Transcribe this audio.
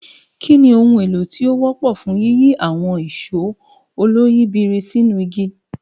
Kí ni ohun èlò tí ó wọ́pọ̀ fún yíyí àwọn ìṣó oloyìibírí sínú igi?